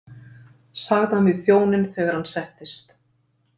sagði hann við þjóninn þegar hann settist.